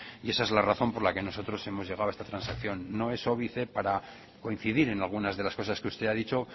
y esa es la razón por la que nosotros hemos llegado a esta transacción no es óbice para coincidir en algunas de las cosas que usted ha dicho